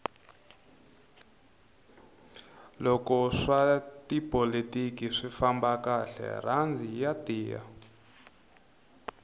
loko swa tipolotiki swi famba kahle rhandi ya tiya